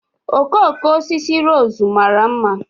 Okooko osisi rose mara mma